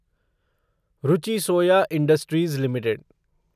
Ruchi Soya industries limited